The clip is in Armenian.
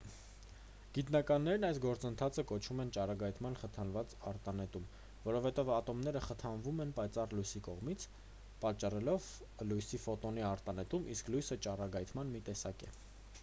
գիտնականներն այս գործընթացը կոչում են ճառագայթման խթանված արտանետում որովհետև ատոմները խթանվում են պայծառ լույսի կողմից պատճառելով լույսի ֆոտոնի արտանետում իսկ լույսը ճառագայթման մի տեսակ է